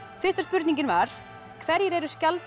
fyrsta spurningin var hverjir eru